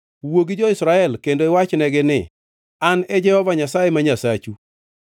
“Wuo gi jo-Israel kendo iwachnegi ni, ‘An e Jehova Nyasaye ma Nyasachu.